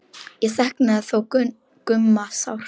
Ég saknaði þó Gumma sárt.